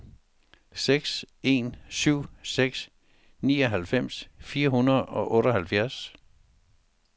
seks en syv seks nioghalvfems fire hundrede og otteoghalvfjerds